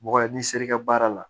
Mɔgɔ i n'i ser'i ka baara la